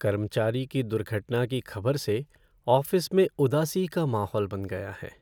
कर्मचारी की दुर्घटना की खबर से ऑफ़िस में उदासी का माहौल बन गया है।